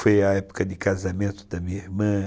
Foi a época de casamento da minha irmã.